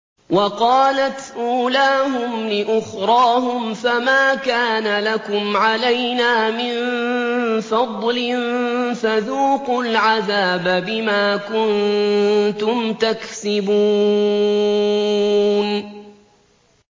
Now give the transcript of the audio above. وَقَالَتْ أُولَاهُمْ لِأُخْرَاهُمْ فَمَا كَانَ لَكُمْ عَلَيْنَا مِن فَضْلٍ فَذُوقُوا الْعَذَابَ بِمَا كُنتُمْ تَكْسِبُونَ